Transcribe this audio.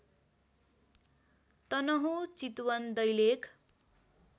Tanahun Chitwan Dailekh